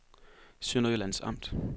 Sønderjyllands Amt